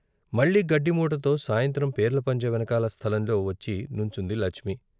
మళ్ళీ గడ్డి మూటతో సాయంత్రం పీర్ల పంజా వెనకాల స్థలంలో వచ్చి నుంచుంది లచ్మి.